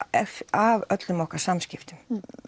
af öllum okkar samskiptum